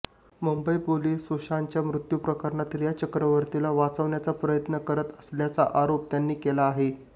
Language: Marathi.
मुंबई पोलीस सुशांतच्या मृत्यू प्रकरणात रिया चक्रवर्तीला वाचवण्याचा प्रयत्न करत असल्याचा आरोप त्यांनी केला आहे